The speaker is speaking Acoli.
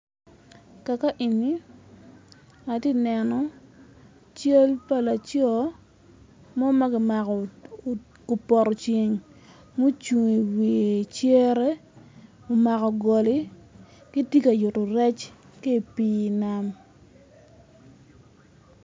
Kaka eni atye neno cal pa lacoo, mo magi mako i poto ceng, mucung i wi cere omako goli ci tye ka yuto rec ki ipi nam.